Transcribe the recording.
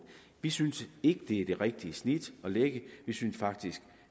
vi synes ikke det er det rigtige snit at lægge vi synes faktisk